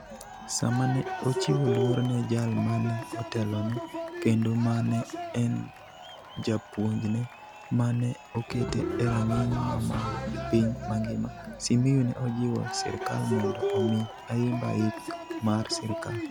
Sama ne ochiwo luor ne jal ma ne otelone kendo ma ne en japuonjne, ma ne okete e rang'iny ma malo e piny mangima, Simiyu ne ojiwo sirkal mondo omi Ayimba yik mar sirkal.